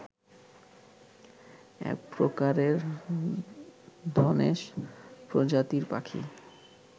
একপ্রকারের ধনেশ প্রজাতির পাখি